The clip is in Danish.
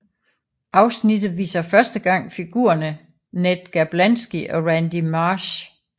Afsnittet viser første gang figurerne Ned Gerblansky og Randy Marsh